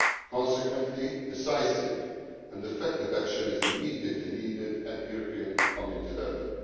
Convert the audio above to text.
Consequently, decisive and effective action is immediately needed at the European Community level.